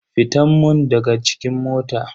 Fitan mun daga cikin mota.